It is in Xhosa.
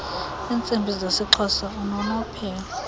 iintsimbi zeisxhosa unonophelo